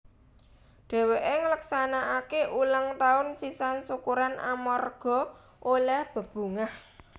Dhèwèké ngleksanakaké ulang taun sisan syukuran amarga olèh bebungah